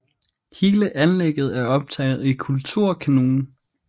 Hele anlægget er optaget i Kulturkanonen